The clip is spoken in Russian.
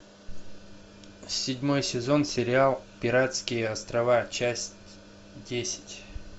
седьмой сезон сериал пиратские острова часть десять